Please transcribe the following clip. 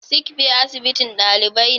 Sickbay asibitin dalibai ne.